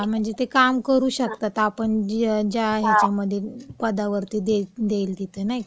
हां, म्हणजे ते काम करू शकतात, म्हणजे आपण ज्या ह्याच्यामध्ये, पदावरती देईल तिथे, नाही का.